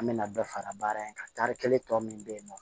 An bɛna bɛɛ fara baara in kan tari kelen tɔ min bɛ yen nɔ